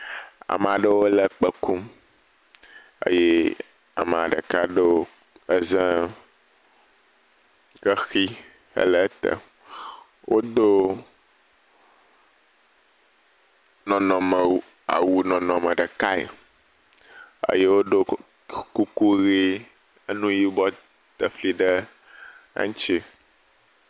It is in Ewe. Ame aɖewo le kpẽ kum eye ame ɖeka ɖo eze xexi hele ete wodo nɔnɔme awu nɔnɔme ɖekae eye wodo ku…kuku ʋe enu yibɔ tefli ɖe eŋuti.